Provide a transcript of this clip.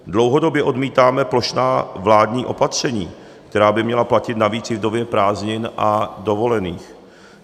Dlouhodobě odmítáme plošná vládní opatření, která by měla platit navíc i v době prázdnin a dovolených.